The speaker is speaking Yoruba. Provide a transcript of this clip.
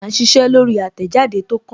À ń ṣiṣẹ́ lórí àtẹ̀jáde tó kàn